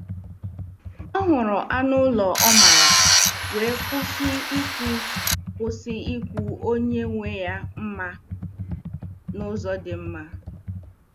Ọ hụrụ anụ ụlọ ọ maara, wee kwụsị ikwu kwụsị ikwu onye nwe ya mma n’ụzọ dị mma.